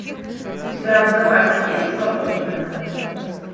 у тебя в запасе есть свободные